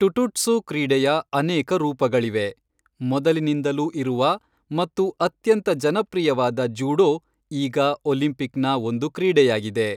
ಟುಟುಟ್ಸು ಕ್ರೀಡೆಯ ಅನೇಕ ರೂಪಗಳಿವೆ, ಮೊದಲಿನಿಂದಲೂ ಇರುವ ಮತ್ತು ಅತ್ಯಂತ ಜನಪ್ರಿಯವಾದ ಜೂಡೋ ಈಗ ಒಲಿಂಪಿಕ್ನ ಒಂದು ಕ್ರೀಡೆಯಾಗಿದೆ.